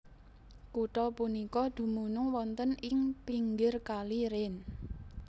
Kutha punika dumunung wonten ing pinggir Kali Rhein